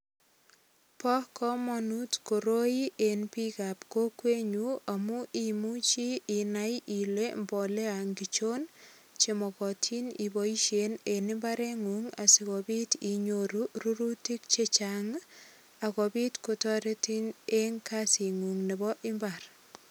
Bo komonut koroi eng biik ap kokwetnyu amu imuchi inai ile mbolea ngirchon chemokotin iboishen en imbarengung asikobit inyoru rurutik che chang akobit kotoretin eng kasit ng'ung' nebo imbar.